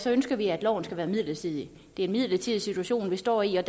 ønsker vi at loven skal være midlertidig det er en midlertidig situation vi står i og